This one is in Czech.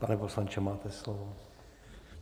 Pane poslanče, máte slovo.